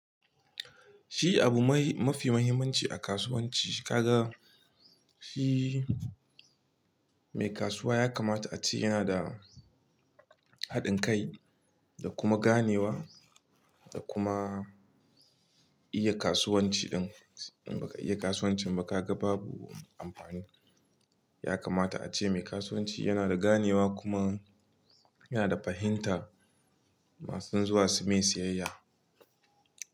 Shi abu mafi mahimmanci a kasuwanci. Kaga shi mai kasuwa ya kamata a ce yana da haɗin kai da kuma ganewa da kuma iya kasuwanci ɗin. In ba ka iya kasuwancin ba ka ga babu amfani. Ya kamata ace mai kasuwanci yana da ganewa kuma yana da fahimta masu dan zuwa su mai siyayya.